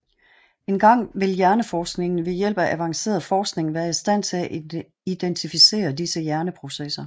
Engang vil hjerneforskningen ved hjælp af avanceret forskning være i stand til identificere disse hjerneprocesser